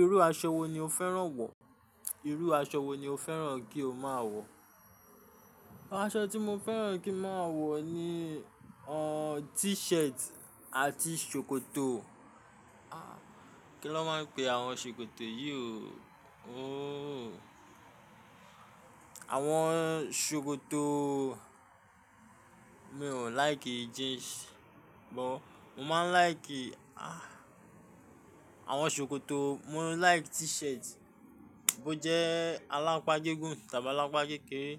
Irú aṣọ wo ni o fẹ́ràn wọ̀? Irú aṣọ wo ni o fẹ́ràn kí o máa wọ̀? Aṣọ tí mo fẹ́ràn kí n máa wọ̀ ni, o, t-shirt àti ṣòkòtò. Ah! Kí lọ máa ń pe àwọn ṣòkòtò yìí o? O, àwọn ṣòkòtò, mi ò like jeans, but mo máa ń like, ah, àwọn ṣòkòtò, mo like t-shirt, bó jẹ́ alápá gígùn tàbí alápá kékeré